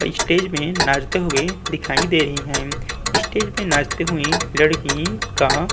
अ stage में नाचते हुए दिखाई दे रही है। स्टेज में नाचते हुए लड़की का --